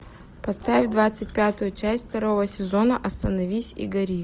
поставь двадцать пятую часть второго сезона остановись и гори